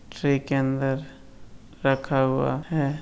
Tree के अंदर रखा हुआ है।